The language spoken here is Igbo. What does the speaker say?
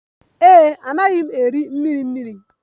Ee e, anaghị m eri mmiri mmiri.